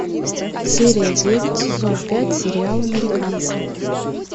серия девять сезон пять сериал американцы